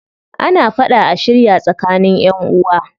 Ana fada a shirya tsakanin ƴanʼuwa.